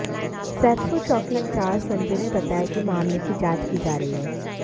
सैदपुर चौकी इंचार्ज संजय ने बताया कि मामले की जांच की जा रही है